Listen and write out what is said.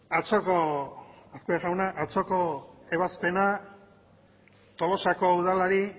atzoko ebazpena tolosako udalari